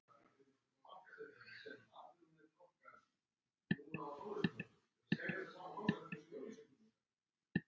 En mér?